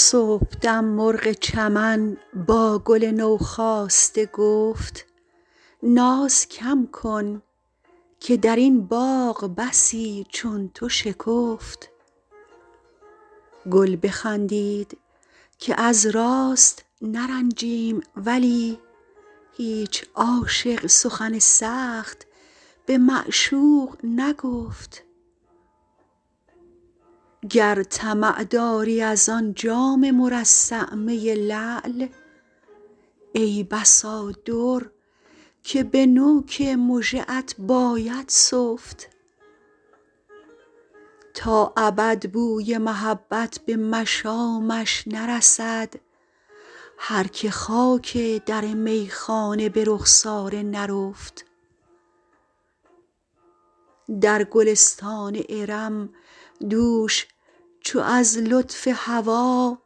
صبحدم مرغ چمن با گل نوخاسته گفت ناز کم کن که در این باغ بسی چون تو شکفت گل بخندید که از راست نرنجیم ولی هیچ عاشق سخن سخت به معشوق نگفت گر طمع داری از آن جام مرصع می لعل ای بسا در که به نوک مژه ات باید سفت تا ابد بوی محبت به مشامش نرسد هر که خاک در میخانه به رخسار نرفت در گلستان ارم دوش چو از لطف هوا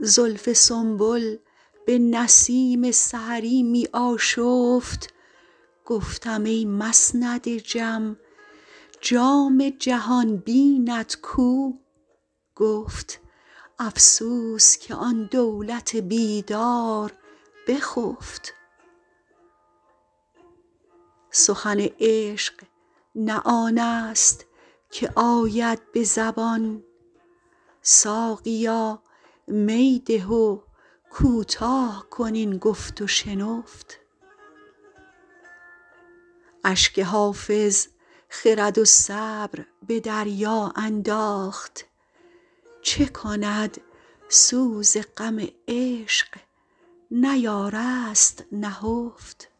زلف سنبل به نسیم سحری می آشفت گفتم ای مسند جم جام جهان بینت کو گفت افسوس که آن دولت بیدار بخفت سخن عشق نه آن است که آید به زبان ساقیا می ده و کوتاه کن این گفت و شنفت اشک حافظ خرد و صبر به دریا انداخت چه کند سوز غم عشق نیارست نهفت